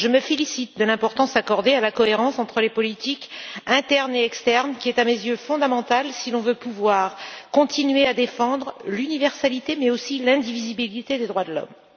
Je me félicite de l'importance accordée à la cohérence entre les politiques internes et externes qui est, à mes yeux, fondamentale si l'on veut pouvoir continuer à défendre l'universalité, mais aussi l'indivisibilité des droits de l'homme.